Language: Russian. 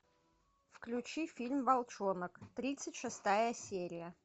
включи фильм волчонок тридцать шестая серия